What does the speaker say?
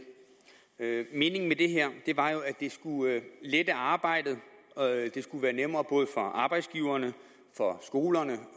meningen med det her var jo at det skulle lette arbejdet det skulle være nemmere både for arbejdsgiverne for skolerne